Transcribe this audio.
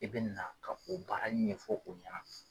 I bɛ na ka o baara ɲɛfɔ o ɲɛna.